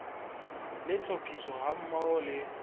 le tlhophiso ha mmoho le